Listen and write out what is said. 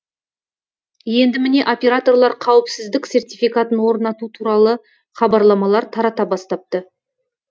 енді міне операторлар қауіпсіздік сертификатын орнату туралы хабарламалар тарата бастапты